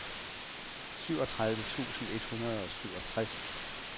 syvogtredive tusind et hundrede og syvogtres